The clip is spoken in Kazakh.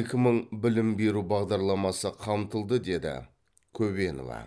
екі мың білім беру бағдарламасы қамтылды деді көбенова